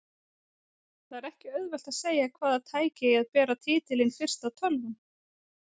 Það er ekki auðvelt að segja hvaða tæki eigi að bera titilinn fyrsta tölvan.